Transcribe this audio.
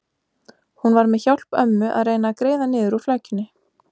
Hún var með hjálp ömmu að reyna að greiða niður úr flækjunni.